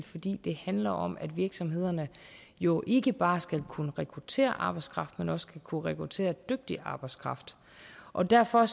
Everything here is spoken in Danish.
fordi det handler om at virksomhederne jo ikke bare skal kunne rekruttere arbejdskraft men også skal kunne rekruttere dygtig arbejdskraft og derfor